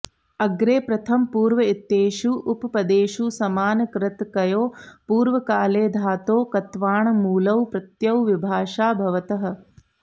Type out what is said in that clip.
अग्रे प्रथम पूर्व इत्येतेषु उपपदेषु समानकर्तृकयोः पूर्वकाले धातोः क्त्वाणमुलौ प्रत्ययु विभाषा भवतः